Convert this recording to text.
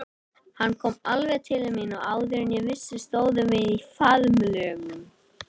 Hann kom alveg til mín og áður en ég vissi stóðum við í faðmlögum.